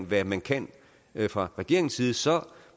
hvad man kan fra regeringens side så